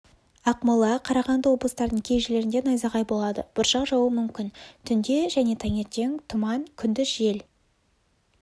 ақмола қарағанды облыстарының кей жерлерінде найзағай болады бұршақ жаууы мүмкін түнде және таңертең тұман күндіз жел